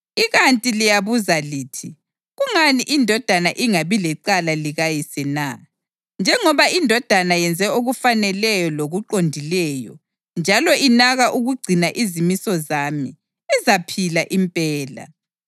Ikanti liyabuza lithi, ‘Kungani indodana ingabi lecala likayise na?’ Njengoba indodana yenze okufaneleyo lokuqondileyo njalo inaka ukugcina izimiso zami, izaphila impela.